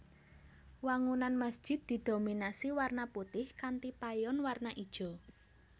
Wangunan masjid didominasi warna putih kanthi payon warna ijo